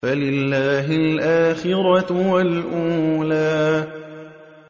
فَلِلَّهِ الْآخِرَةُ وَالْأُولَىٰ